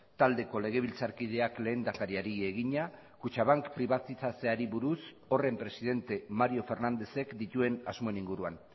taldeko legebiltzarkideak lehendakariari egina kutxabank pribatizatzeari buruz horren presidente mario fernándezek dituen asmoen inguruan